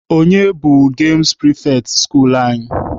Onye bụ gemụ pịrịfetị skuulu anyị?